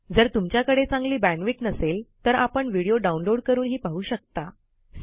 जर तुमच्याकडे चांगली बॅण्डविड्थ नसेल तर आपण व्हिडिओ डाउनलोड करूनही पाहू शकता